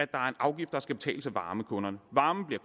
afgift der skal betales af varmekunderne varmen bliver